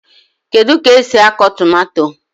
Kedu k'esi akụ tomato?